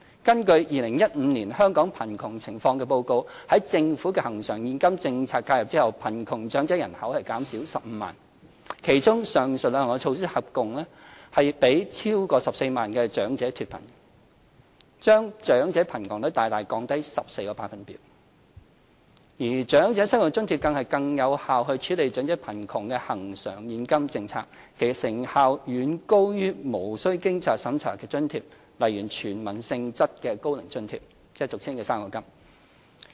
根據《2015年香港貧窮情況報告》，在政府恆常現金政策介入後，貧窮長者人口減少15萬，其中上述兩項措施合共令超過14萬名長者脫貧，把長者貧窮率大大降低14個百分點，而長者生活津貼更是最有效處理長者貧窮的恆常現金政策，其成效遠高於無須經濟審查的津貼，例如屬"全民"性質的高齡津貼，即俗稱的"生果金"。